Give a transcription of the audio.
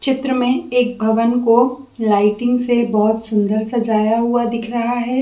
चित्र में एक पवन को लाइटिंग से बहुत सुंदर सजाया हुआ दिख रहा है।